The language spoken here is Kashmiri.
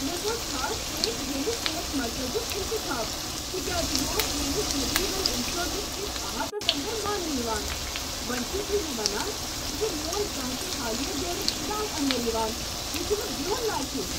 مےٚ کوٚر خاص پٲٹھۍ ییٚمہ صحت مرکزُک انتخاب تکیاز یہ اوس میٛٲنس میڈی ویل انشورنس كِس احاتس اندر مانٛنہٕ یوان۔ وۄنۍ چھو تُہۍ مےٚ ونان ز میون کانٛہہ تہ حالیہ دورٕ چھنہٕ اتھ اندر یوان؟ یہ چھُنہٕ بہُن لایق۔